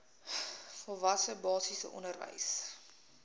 volwasse basiese onderwys